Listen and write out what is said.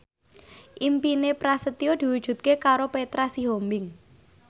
impine Prasetyo diwujudke karo Petra Sihombing